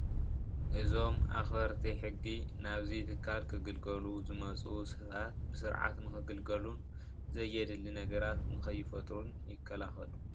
እዚ ምስሊ ናብ ባንኪ ንዝኣቱን ፀገም ዝፈጥሩን ሰባት ብምሕላው ሕጊ የኽብሩ።